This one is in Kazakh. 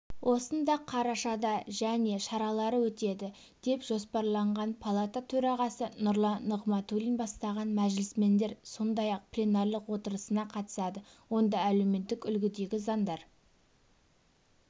осында қарашада және шаралары өтеді деп жоспарланған палата төрағасы нұрлан нығматулин бастаған мәжілісмендер сондай-ақ пленарлық отырысына қатысады онда әлеуметтік үлгідегі заңдар